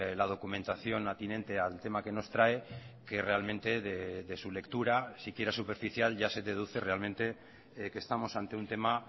toda la documentación atinente al tema que nos trae que realmente de su lectura si quiera superficial ya se deduce realmente que estamos ante un